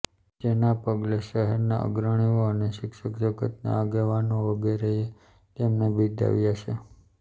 જેના પગલે શહેર ના અગ્રણીઓ અને શિક્ષણજગત ના આગેવાનો વગેરે એ તેમને બિરદાવ્યા છે